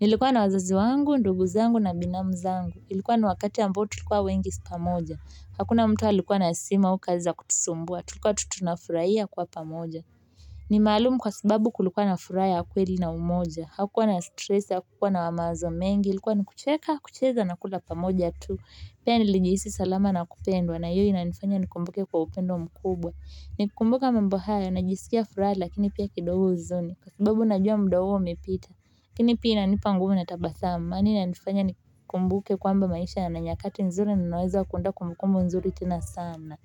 nilikuwa na wazazi wangu ndugu zangu na binamu zangu ilikuwa ni wakati ambao tulikuwa wengi pamoja hakuna mtu alikuwa na simu au kazi za kutusumbua tulikuwa tu tunafurahia kwa pamoja ni maalumu kwa sababu kulikuwa na furaha ya kweli na umoja hakukuwa na stress hakukuwa na mawazo mengi ilikuwa ni kucheka kucheza na kula pamoja tu. Pea nilijihisi salama na kupendwa na hiyo inanifanya nikumbuke kwa upendo mkubwa. Nikikumbuka mambo hayo najisikia furaha lakini pia kidogo huzuni kwa sababu najua mda huo umepita lakini pia inanipa nguvu na tabasamu maana inanifanya nikumbuke kwamba maisha yana nyakati nzuri na naweza kuunda kumbukumbu nzuri tena sana.